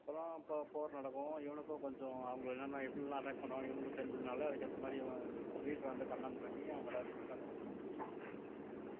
அப்புறம் போர் போர் நடக்கும் இவனுக்கும் கொஞ்சம் அவங்களை என்னென்ன எப்படி எல்லாம் attack பண்ணுவாங்கன்னு இவனுக்கு தெரிஞ்சதுனாலே அதுக்கு ஏத்த மாதிரி அவன் leader ஆ இருந்து command பண்ணி அவங்க எல்லாரையும் win பண்ண வைப்பான்